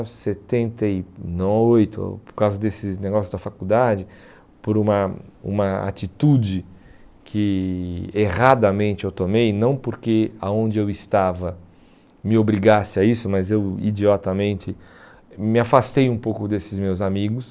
setenta e oito...por causa desses negócios da faculdade, por uma uma atitude que erradamente eu tomei, não porque aonde eu estava me obrigasse a isso, mas eu idiotamente me afastei um pouco desses meus amigos.